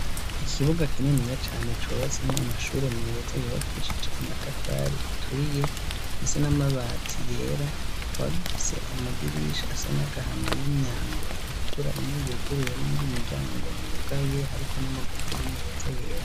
Ikibuga kininiya cane cubatsemw' amashuri meza yubakishije amatafari aturiye, afise n'amabati yera ,akaba gifise amadirisha asa n'agahama n'imyango itukura imwe yuguruye n'iyindi miryango yugaye, hariko n'amagufuri meza yera.